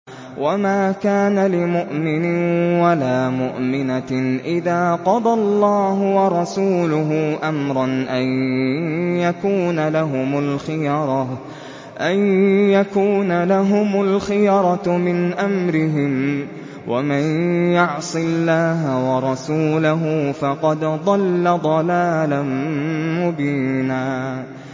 وَمَا كَانَ لِمُؤْمِنٍ وَلَا مُؤْمِنَةٍ إِذَا قَضَى اللَّهُ وَرَسُولُهُ أَمْرًا أَن يَكُونَ لَهُمُ الْخِيَرَةُ مِنْ أَمْرِهِمْ ۗ وَمَن يَعْصِ اللَّهَ وَرَسُولَهُ فَقَدْ ضَلَّ ضَلَالًا مُّبِينًا